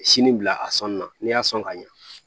Sini bila a sɔnni na n'i y'a sɔn ka ɲɛ